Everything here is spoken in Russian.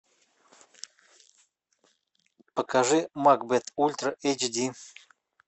покажи макбет ультра эйч ди